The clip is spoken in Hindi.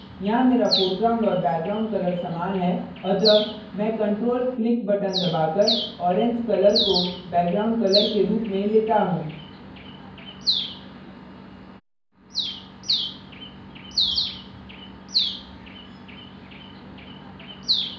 यहाँ here foreground और background colour समान है अतः मैं ctrl + click बटन दबाकर orange colour को background colour के रूप में लेता हैं